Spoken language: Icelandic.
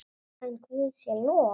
En Guði sé lof.